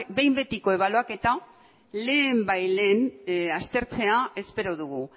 behin betiko ebaluaketa lehenbailehen aztertzea espero dugu